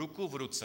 Ruku v ruce.